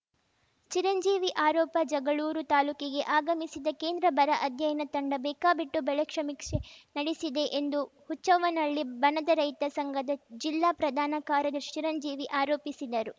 ಚಿರಂಜೀವಿ ಆರೋಪ ಜಗಳೂರು ತಾಲೂಕಿಗೆ ಆಗಮಿಸಿದ್ದ ಕೇಂದ್ರ ಬರ ಅಧ್ಯಯನ ತಂಡ ಬೇಕಾಬಿಟ್ಟು ಬೆಳೆ ಸಮೀಕ್ಷೆ ನಡೆಸಿದೆ ಎಂದು ಹುಚ್ಚವ್ವನಹಳ್ಳಿ ಬಣದ ರೈತ ಸಂಘದ ಜಿಲ್ಲಾ ಪ್ರಧಾನ ಕಾರ್ಯದರ್ಶಿ ಚಿರಂಜೀವಿ ಆರೋಪಿಸಿದರು